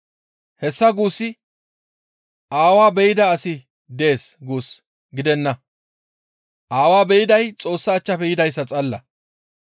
Hessa guussi Aawaa be7ida asi dees guus gidenna; Aawaa be7iday Xoossa achchafe yidayssa xalla.